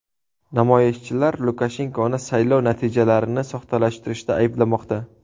Namoyishchilar Lukashenkoni saylov natijalarini soxtalashtirishda ayblamoqda.